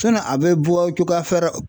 a bɛ bɔ cogoya fɛrɛ